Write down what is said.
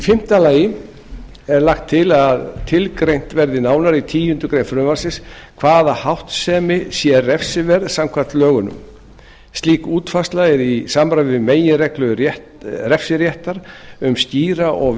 fimmta lagt er til að tilgreint verði nánar í tíundu greinar frumvarpsins hvaða háttsemi sé refsiverð samkvæmt lögunum slík útfærsla er í samræmi við meginreglu refsiréttar um skýra og